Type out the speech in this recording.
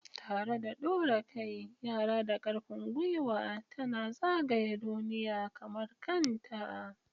Tare da ɗora kai, Yara da ƙarfin gwiwa tana zagaya duniya kamar kanta.